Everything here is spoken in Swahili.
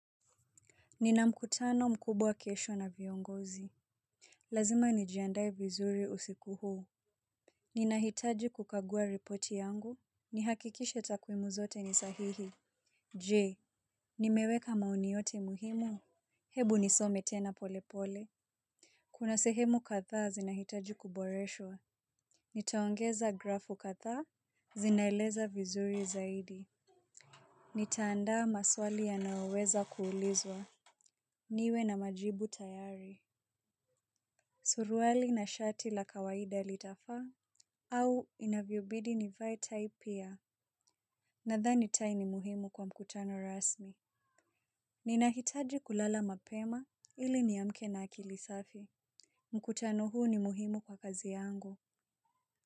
Nina mkutano mkubwa kesho na viongozi. Lazima nijiandaye vizuri usiku huu. Ninahitaji kukagua ripoti yangu. Nihakikishe takwimu zote ni sahihi. Je nimeweka maoni yote muhimu. Hebu nisome tena pole pole. Kuna sehemu kadhaa zinaitaji kuboreshwa. Nitaongeza grafu kadhaa. Zinaeleza vizuri zaidi. Nitaanda maswali yanayoweza kuulizwa. Niwe na majibu tayari. Suruwali na shati la kawaida litafaa au inavyobidi nivae tai pia. Nadhani tai ni muhimu kwa mkutano rasmi. Ninahitaji kulala mapema ili niamke na akili safi. Mkutano huu ni muhimu kwa kazi yangu.